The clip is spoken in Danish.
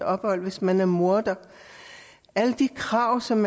ophold hvis man er morder alle de krav som